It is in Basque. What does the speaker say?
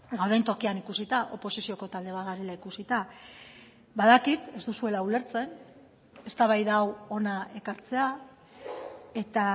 gauden tokian ikusita oposizioko talde bat garela ikusita badakit ez duzuela ulertzen eztabaida hau hona ekartzea eta